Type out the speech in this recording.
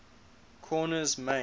korner's main